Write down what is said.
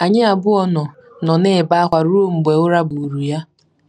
Anyị abụọ nọ nọ na-ebe ákwá ruo mgbe ụra buuru ya.